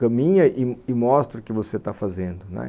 caminha e e mostra o que você está fazendo, né